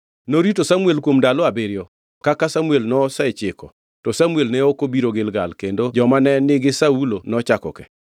Norito Samuel kuom ndalo abiriyo kaka Samuel nosechiko, to Samuel ne ok obiro Gilgal kendo joma ne nigi Saulo nochako ke.